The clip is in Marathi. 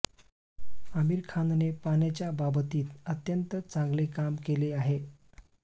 आमिर खानने पाण्याच्या बाबतीत अत्यंत चांगले काम केले आहे